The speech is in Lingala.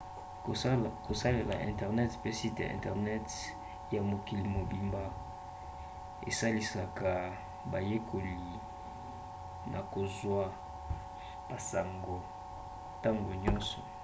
kosalela internet mpe site internet ya mokili mobimba esalisaka bayekoli na kozwa basango ntango nyonso